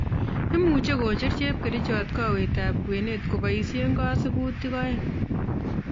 Imuche kocher chepkerichot kowet ab kwenet koboisien kasibutik oeng